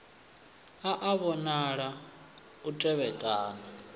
a a vhonala u tevhekana